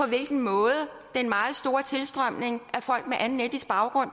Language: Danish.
hvilken måde den meget store tilstrømning af folk med anden etnisk baggrund